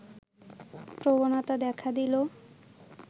প্রবণতা দেখা দিল